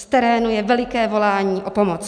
Z terénu je veliké volání o pomoc.